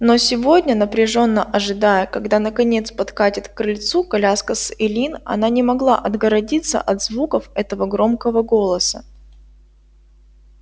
но сегодня напряжённо ожидая когда наконец подкатит к крыльцу коляска с эллин она не могла отгородиться от звуков этого громкого голоса